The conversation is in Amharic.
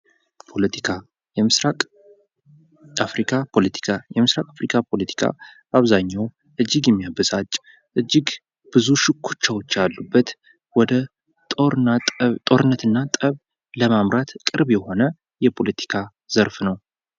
ፖለቲካ የምስራቅ አፍሪካ ፖለቲካ፦ በአብዛኛው እጅግ የሚያበሳጭ እጅግ ብዙ ሽኩቻወች ያሉበት ወደ ጦርነት እና ጠብ ለማምራት ቅርብ የሆነ የፖለቲካ ዘርፍ ነው።